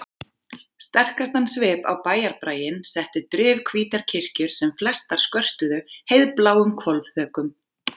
Sterkastan svip á bæjarbraginn settu drifhvítar kirkjur sem flestar skörtuðu heiðbláum hvolfþökum.